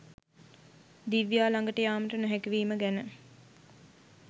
දිව්‍යා ලඟට යාමට නොහැකි වීම ගැන